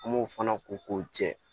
An m'o fana ko k'o jɛ